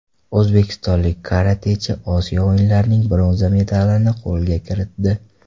O‘zbekistonlik karatechi Osiyo o‘yinlarining bronza medalini qo‘lga kiritdi.